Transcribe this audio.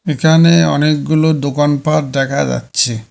এখানে অনেকগুলো দোকানপাট দেখা যাচ্ছে।